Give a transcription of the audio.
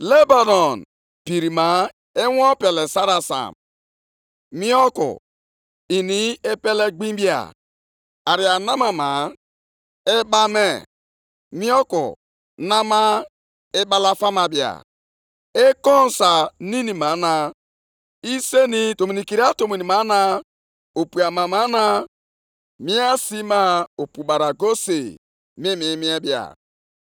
Ihe ike ahụ i mere Lebanọn ga-abịakwasịkwa gị. Mbibi i bibiri anụmanụ dị iche iche ga-emekwa ka egwu ju gị obi. Nʼihi na ị wụsịala ọbara ọtụtụ mmadụ, bibie ala na obodo dị iche iche, bibiekwa ndị niile bi nʼime ha.